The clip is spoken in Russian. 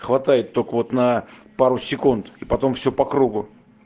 хватает только вот на пару секунд и потом все по кругу